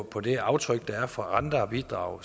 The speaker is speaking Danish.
på det aftryk der er fra andre bidrag